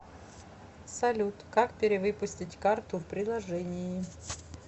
салют как перевыпустить карту в приложении